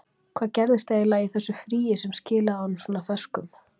Hvað gerðist eiginlega í þessu fríi sem skilaði honum svona ferskum?